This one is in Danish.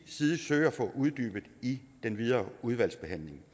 side søge at få uddybet i den videre udvalgsbehandling